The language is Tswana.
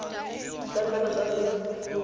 ditlankana tsa nnete le dikhopi